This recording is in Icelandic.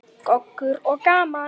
Goggur og gaman.